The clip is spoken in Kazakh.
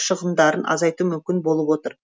шығындарын азайту мүмкін болып отыр